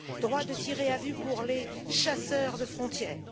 droit de tirer à vue pour les chasseurs de frontière